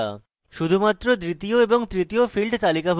শুধুমাত্র দ্বিতীয় এবং তৃতীয় fields তালিকাভুক্ত করা